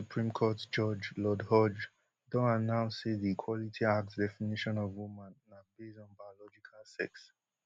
uk supreme court judge lord hodge don announce say di equality act definition of woman na base on biological sex